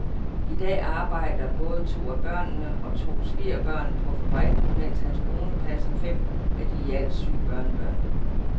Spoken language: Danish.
I dag arbejder både to af børnene og to svigerbørn på fabrikken, mens hans kone passer fem af de i alt syv børnebørn.